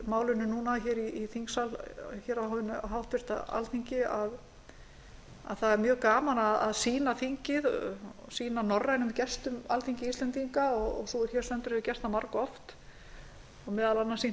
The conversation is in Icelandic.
mælt er fyrir málinu í þingsal á hinu háttvirta alþingi að það er mjög gaman að sýna norrænum gestum alþingi íslendinga og sú er hér stendur hefur gert það margoft og meðal annars sýnt